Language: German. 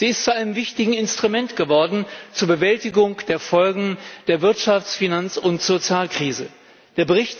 Sie ist zu einem wichtigen Instrument zur Bewältigung der Folgen der Wirtschafts Finanz und Sozialkrise geworden.